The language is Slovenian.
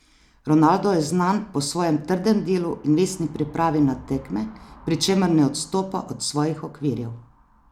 Ronaldo je znan po svojem trdem delu in vestni pripravi na tekme, pri čemer ne odstopa od svojih okvirjev.